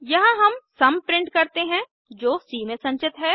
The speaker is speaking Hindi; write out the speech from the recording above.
यहाँ हम सम प्रिंट करते हैं जो सी में संचित है